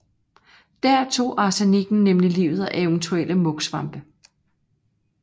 Der tog arsenikken nemlig livet af eventuelle mugsvampe